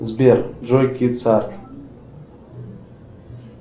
сбер джой кидс арт